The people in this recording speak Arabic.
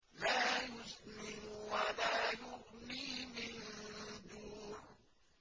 لَّا يُسْمِنُ وَلَا يُغْنِي مِن جُوعٍ